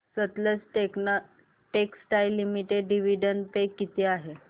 Sutlej textiles limited dividend pay किती आहे